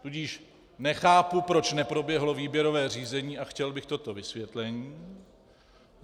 Tudíž nechápu, proč neproběhlo výběrové řízení, a chtěl bych toto vysvětlení.